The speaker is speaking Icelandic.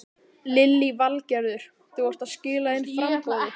Lillý Valgerður: Þú ert að skila inn framboði?